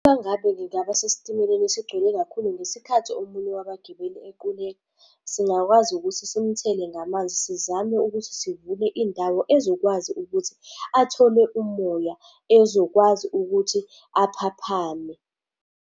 Mangabe ngingaba sesitimeleni esigcwele kakhulu ngesikhathi omunye wabagibeli equleka, singakwazi ukuthi simuthele ngamanzi, sizame ukuthi sivule indawo ezokwazi ukuthi athole umoya, ezokwazi ukuthi aphaphame.